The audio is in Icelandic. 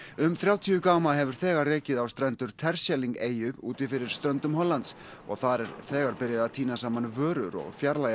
um þrjátíu gáma hefur þegar rekið á strendur eyju úti fyrir ströndum Hollands og þar er þegar byrjað að tína saman vörur og fjarlægja